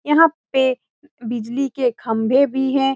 यहाँ पे बिजली के खम्बे भी है।